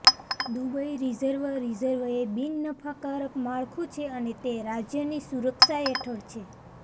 Dubai reserve reserve એ બિન નફાકારક માળખું છે અને તે રાજ્યની સુરક્ષા હેઠળ છે